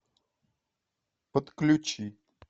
подключи